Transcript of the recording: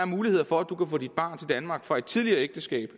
muligheder for at du kan få dit barn fra et tidligere ægteskab